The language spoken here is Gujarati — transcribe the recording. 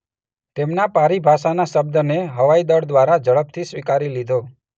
તેમના પારિભાષાનાશબ્દને હવાઇદળ દ્વારા ઝડપથી સ્વીકારી લીધો